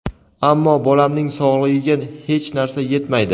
ammo bolamning sog‘ligiga hech narsa yetmaydi.